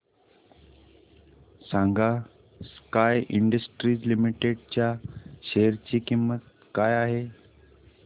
सांगा sky industries limited च्या share ची किंमत काय आहे